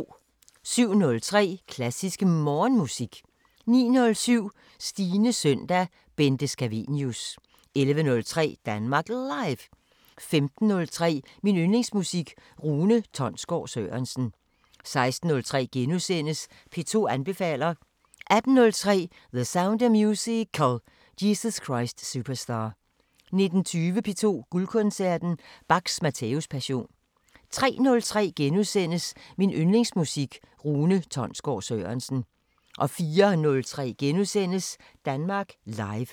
07:03: Klassisk Morgenmusik 09:07: Stines søndag: Bente Scavenius 11:03: Danmark Live 15:03: Min Yndlingsmusik: Rune Tonsgaard Sørensen 16:03: P2 anbefaler * 18:03: The Sound of Musical: Jesus Christ Superstar 19:20: P2 Guldkoncerten: Bachs Matthæus-passion 03:03: Min Yndlingsmusik: Rune Tonsgaard Sørensen * 04:03: Danmark Live *